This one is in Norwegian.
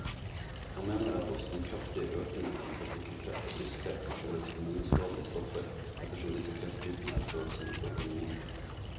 Han mener at også den kraftige økningen i testikkelkreft og brystkreft kan skyldes hormonskadelige stoffer, ettersom disse krefttypene er følsomme for hormoner.